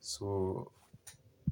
So.